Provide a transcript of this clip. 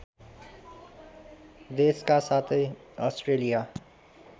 देसका साथै अस्ट्रेलिया